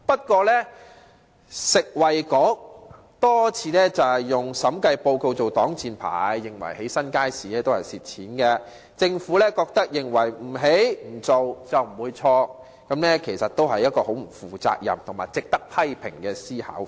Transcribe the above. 可是，食物及衞生局卻多次以審計報告作擋箭牌，認為興建新街市會導致虧蝕，政府認為不建、不做，就不會錯，這其實是相當不負責任及值得批評的思維。